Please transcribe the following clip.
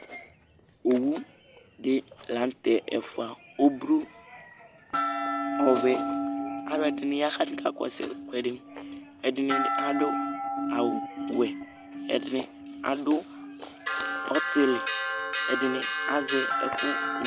Owuɖi lanʋtɛ ɛfua, ɔblʋ, n'ɔvɛ, k'alʋɛɖini yaa k'atani k'akɔsʋ ɛkʋɛɖiƐɖini aɖʋ awu wuɛ, ɛɖi aɖʋ ɔtili, ɛɖini azɛ ɛkʋ n